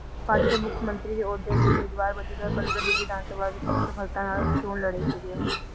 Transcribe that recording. party ਦੇ ਮੁੱਖ ਮੰਤਰੀ ਦੇ ਅਹੁਦੇ ਲਈ ਉਮੀਦਵਾਰ ਵਜੋਂ ਦੋ ਹਜ਼ਾਰ ਪੰਦਰਾਂ ਦੀ ਵਿਧਾਨ ਸਭਾ ਦੀ ਅਸਫਲਤਾ ਨਾਲ ਚੌਣ ਲੜੇ ਸੀਗੇ ਉਹ